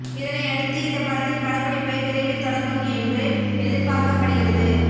இதனை அடுத்து இந்த படத்தின் படப்பிடிப்பு விரைவில் தொடங்கும் என்று எதிர்பார்க்கப்படுகிறது